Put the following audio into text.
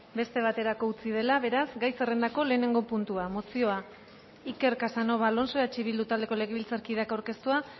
beste baterako utzi dela beraz gai zerrendako lehenengo puntua mozioa iker casanova alonso eh bildu taldeko legebiltzarkideak aurkeztua